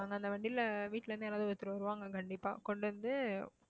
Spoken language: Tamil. நாங்க அந்த வண்டியில வீட்டுல இருந்து யாராவது ஒருத்தர் வருவாங்க கண்டிப்பா கொண்டு வந்து